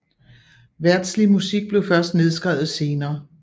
Verdslig musik blev først nedskrevet senere